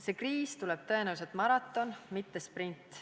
See kriis tuleb tõenäoliselt maraton, mitte sprint.